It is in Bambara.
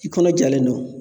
I kɔnɔ jalen don